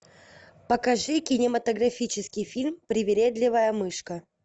покажи кинематографический фильм привередливая мышка